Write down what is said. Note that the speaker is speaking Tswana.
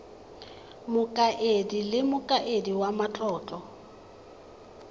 mokaedi le mokaedi wa matlotlo